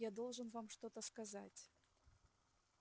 я должен вам что-то сказать